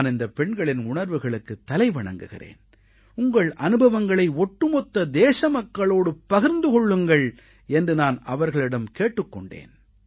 நான் இந்தப் பெண்களின் உணர்வுகளுக்குத் தலை வணங்குகிறேன் உங்கள் அனுபவங்களை ஒட்டுமொத்த தேச மக்களோடு பகிர்ந்து கொள்ளுங்கள் என்று நான் அவர்களிடம் கேட்டுக் கொண்டேன்